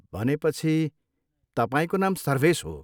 भनेपछि तपाईँको नाम सर्भेस हो।